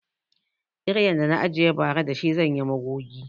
Kiryan da na ajiye ba ra da shi zanyi magogi